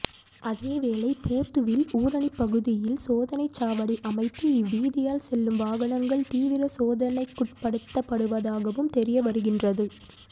அதேவேளை பொத்துவில் ஊறணிப்பகுதியில் சோதனைச்சாவடி அமைத்து இவ்வீதியால் செல்லும் வாகனங்கள் தீவிர சோதனைக்குட்படுத்தப்படுவதாகவும் தெரியவருகின்றது